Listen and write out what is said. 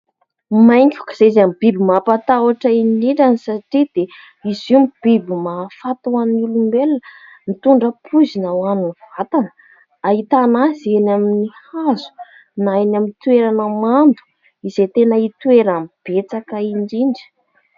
Maingoka iray izay ny biby mampatahotra indrindra satria dia izy io ny biby mahafaty ho an'ny olombelona, mitondra poizina ho any vatana, ahitana azy eny amin'ny hazo na eny amin'ny toerana mando izay tena hitoerany betsaka indrindra.